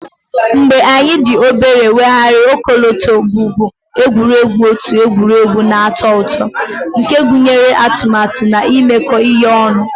Mgbe anyị dị obere, Weghara ọkọlọtọ bụbu egwuregwu otu egwuregwu na-atọ ụtọ nke gụnyere atụmatụ na imekọ ihe ọnụ